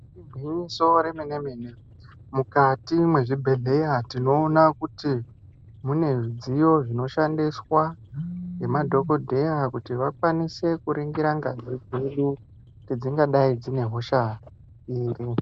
Igwinyiso remene-mene mukati mwezvibhedhleya tinoona kuti mune zvidziyo zvinoshandiswa ngemadhokodheya. Kuti vakwanise kuringira ngazi dzedu, kuti dzingadai dzine hosha iri.